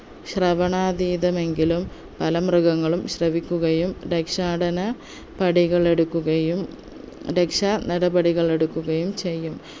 ശ്രവണാതീതമെങ്കിലും പല മൃഗങ്ങളും ശ്രവിക്കുകയും രക്ഷാടന പടികൾ എടുക്കുകയും രക്ഷാ നടപടികൾ എടുക്കുകയും ചെയ്യും